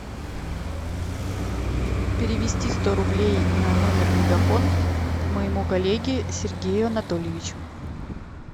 перевести сто рублей на номер мегафон моему коллеге сергею анатольевичу